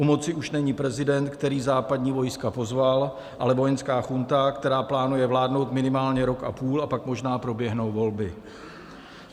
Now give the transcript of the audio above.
U moci už není prezident, který západní vojska pozval, ale vojenská junta, která plánuje vládnout minimálně rok a půl, a pak možná proběhnou volby.